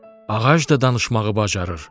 “Ağac da danışmağı bacarır.